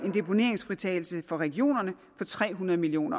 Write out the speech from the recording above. en deponeringsfritagelse for regionerne på tre hundrede million